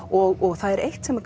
og það er eitt sem